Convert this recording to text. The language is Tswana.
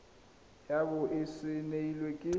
ya bo e saenilwe ke